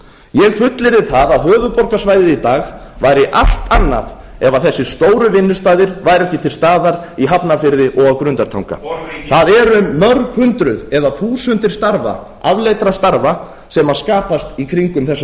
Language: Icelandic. ég fullyrði það að höfuðborgarsvæðið í dag væri allt annað ef þessir stóru vinnustaðir væru ekki til staðar í hafnarfirði og á grundartanga það eru mörg hundruð eða þúsundir starfa afleiddra starfa sem skapast í kringum þessa